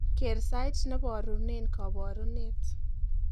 keer sait neborugen koborunet